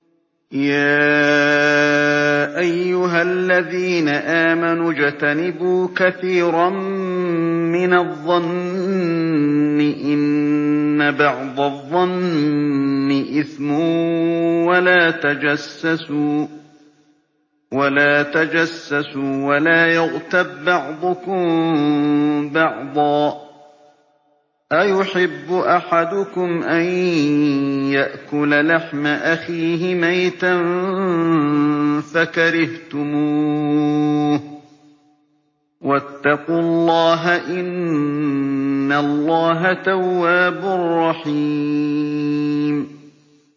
يَا أَيُّهَا الَّذِينَ آمَنُوا اجْتَنِبُوا كَثِيرًا مِّنَ الظَّنِّ إِنَّ بَعْضَ الظَّنِّ إِثْمٌ ۖ وَلَا تَجَسَّسُوا وَلَا يَغْتَب بَّعْضُكُم بَعْضًا ۚ أَيُحِبُّ أَحَدُكُمْ أَن يَأْكُلَ لَحْمَ أَخِيهِ مَيْتًا فَكَرِهْتُمُوهُ ۚ وَاتَّقُوا اللَّهَ ۚ إِنَّ اللَّهَ تَوَّابٌ رَّحِيمٌ